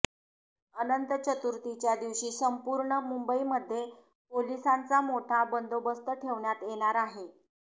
अनंत चतुर्थीच्या दिवशी संपूर्ण मुंबईमध्ये पोलिसांचा मोठा बंदोबस्त ठेवण्यात येणार आहे